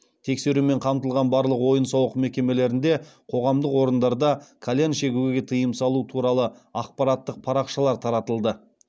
тексерумен қамтылған барлық ойын сауық мекемелерінде қоғамдық орындарда кальян шегуге тыйым салу туралы ақпараттық парақшалар таратылды